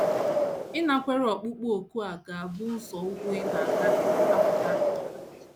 Ịnakwere ọkpụkpọ òkù a ga - abụ nzọụkwụ ị na - agaghị akwara ụta.